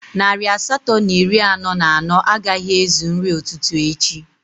Narị asatọ na iri anọ na anọ agaghị ezu nri ụtụtụ echi